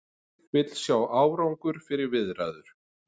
Vill sjá árangur fyrir viðræður